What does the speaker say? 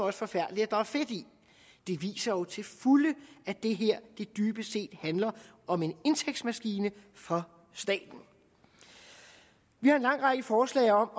er forfærdeligt at der er fedt i det viser jo til fulde at det her dybest set handler om en indtægtsmaskine for staten vi har en lang række forslag om